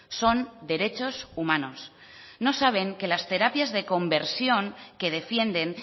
son derechos humanos no saben que las terapias de conversión que defienden